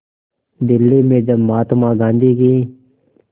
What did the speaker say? दिल्ली में जब महात्मा गांधी की